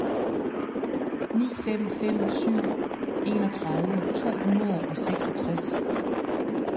ni fem fem syv enogtredive to hundrede og seksogtres